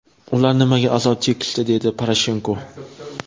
Ular nimaga azob chekishdi?”, − dedi Poroshenko.